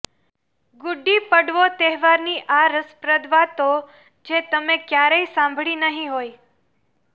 ગુડી પડવો તહેવારની આ રસપ્રદ વાતો જે તમે ક્યારેય સાંભળી નહિ હોય